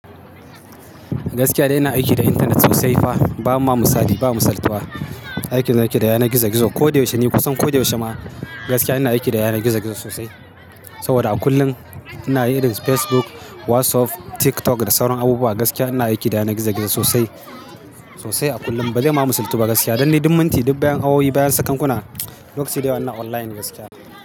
Gaskiya dai ina aiki da intanet sosai fa. Ba ma misali, ba masaltuwa. Aikin da nake da yanar gizo-gizo. Ko da yaushe ni kusan ko da yaushe ma gaskiya ina aiki da yana gizo-gizo sosai. Saboda a kullum ina yin Facebook, WhatsApp, TikTok da sauran abubuwa gaskiya ina aiki da yana gizo-gizo sosai, sosai a kullum. Ba zai ma musaltu ba gaskiya. Dan de duk minti, duk bayan awowi, bayan sakankuna, lokaci da yawa ina online gaskiya.